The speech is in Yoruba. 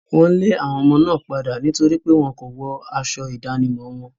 Wọ́n lé àwọn ọmọ náà padà nítorí pé wọn kò wọ aṣọ ìdánimọ̀ wọn.